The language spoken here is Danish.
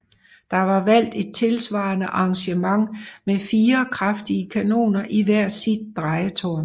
Der var valgt et tilsvarende arrangement med fire kraftige kanoner i hvert sit drejetårn